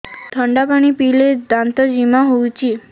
ଥଣ୍ଡା ପାଣି ପିଇଲେ ଦାନ୍ତ ଜିମା ହଉଚି